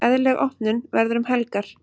Eðlileg opnun verður um helgar.